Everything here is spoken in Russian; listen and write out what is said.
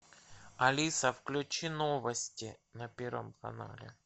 алиса включи новости на первом канале